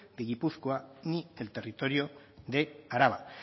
de gipuzkoa ni el territorio de araba